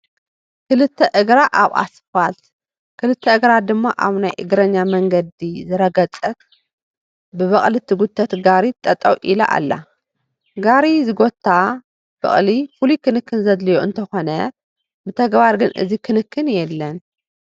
ክልተ እግራ ኣብ ኣስፋልት ግልተ እግራ ድማ ኣብ ናይ እግረኛ መንገዲ ዝረገፀት ብበቕሊ ትጉተት ጋሪ ጠጠው ኢላ ኣላ፡፡ ጋሪ ዝጐታ በቕሊ ፍሉይ ክንክን ዘድልየን እንትኾና ብተግባር ግን እዚ ክንክን የለን፡፡